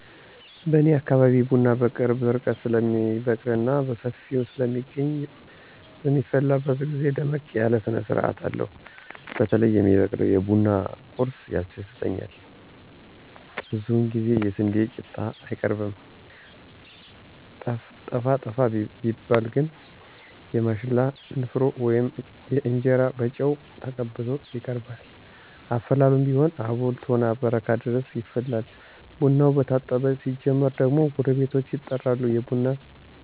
በኔ አካባቢ ቡና በቅርብ ርቀት ስለሚበቅልና በሰፊው ስለሚገኝ በሚፈላበት ግዜ ደመቅ ያለ ስነስርአት አለው። በተለይ የሚቀርበው የቡና ቁርሱ ያስደስተኛል ብዙውን ጊዜ የስንዴ ቂጣ አይቀርም። ጠፋ ጠፋ ቢባል ግን የማሽላ ንፍሮ ወይም እንጀራ በጨው ተቀብቶ ይቀርባል። አፈላሉም ቢሆን አቦል፣ ቶና፣ በረካ ድረስ ይፈላል። ቡናው መታጠብ ሲጀምር ጀምሮ ጎረቤቶች ይጠራሉ፤ የቡና